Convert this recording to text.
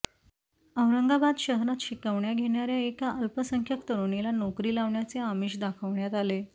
औरंगाबाद शहरात शिकवण्या घेणाऱ्या एका अल्पसंख्याक तरुणीला नोकरी लावण्याचे आमिष दाखवण्यात आले